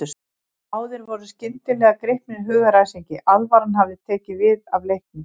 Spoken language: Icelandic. Báðir voru skyndilega gripnir hugaræsingi, alvaran hafði tekið við af leiknum.